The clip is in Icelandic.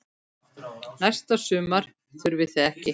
Næsta sumar þurfið þið ekki.